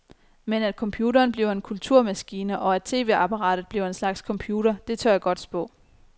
Men at computeren bliver en kulturmaskine og at tv-apparatet bliver en slags computer, det tør jeg godt spå.